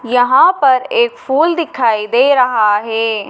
यहाँ पर एक फूल दिखाई दे रहा है।